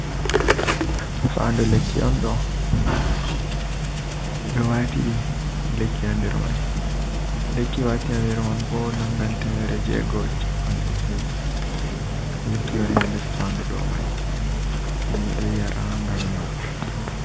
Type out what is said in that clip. Faandu lekki on ɗo ɓewatiɗi lekki ha derman. Lekki wati haa der man bo nangan temere jego e cappan e joi, lekki woni hee nder fandu ɗo mai himɓe ɗo yara ngam nyawo.